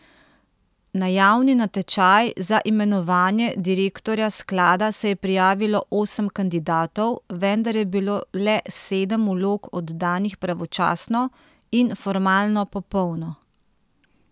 Na javni natečaj za imenovanje direktorja sklada se je prijavilo osem kandidatov, vendar je bilo le sedem vlog oddanih pravočasno in formalno popolno.